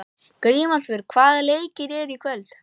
Grímólfur, hvaða leikir eru í kvöld?